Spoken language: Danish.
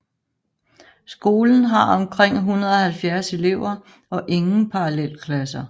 Skolen har omkring 170 elever og ingen parallelklasser